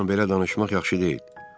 Onunla belə danışmaq yaxşı deyil.